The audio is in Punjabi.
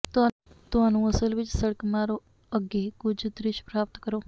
ਤੁਹਾਨੂੰ ਅਸਲ ਵਿੱਚ ਸੜਕ ਮਾਰੋ ਅੱਗੇ ਕੁਝ ਦਰਿਸ਼ ਪ੍ਰਾਪਤ ਕਰੋ